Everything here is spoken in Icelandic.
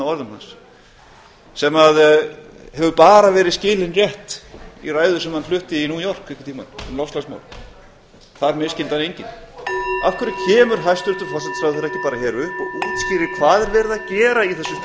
orðum hans sem hefur bara verið skilinn rétt í ræðu sem hann flutti í ræðu í new york einhvern tímann um loftslagsmál þar misskildi hann enginn af hverju kemur hæstvirtur forsætisráðherra ekki bara hér upp og útskýrir hvað er verið að gera í